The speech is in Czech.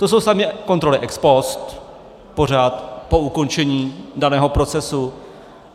To jsou samé kontroly ex post, pořád po ukončení daného procesu.